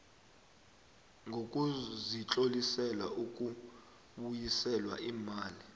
sokuzitlolisela ukubuyiselwa iimali